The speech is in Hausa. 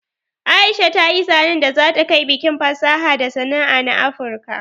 Aisha ta yi zanen da za ta kai bikin fasaha da sana'a na afurka